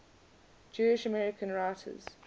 jewish american writers